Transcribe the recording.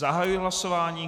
Zahajuji hlasování.